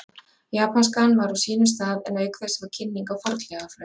Japanskan var á sínum stað en auk þess var kynning á fornleifafræði.